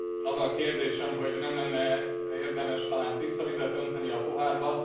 Az a kérdésem, hogy nem lenne e érdemes talán tiszta vizet önteni a pohárba?